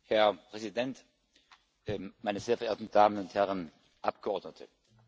Herr Präsident, meine sehr verehrten Damen und Herren Abgeordneten!